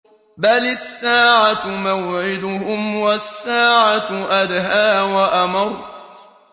بَلِ السَّاعَةُ مَوْعِدُهُمْ وَالسَّاعَةُ أَدْهَىٰ وَأَمَرُّ